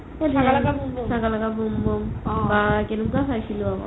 শকা লাকা boom boom বাহ কেনেকুৱা চাইছিলো আকৌ